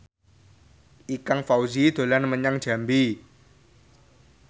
Ikang Fawzi dolan menyang Jambi